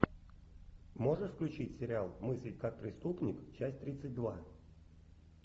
можешь включить сериал мыслить как преступник часть тридцать два